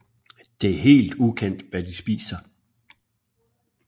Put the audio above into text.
Det er helt ukendt hvad de spiser